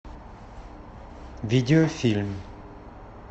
видеофильм